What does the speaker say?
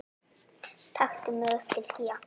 taktu mig upp til skýja